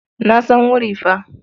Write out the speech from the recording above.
Na san wuri fa.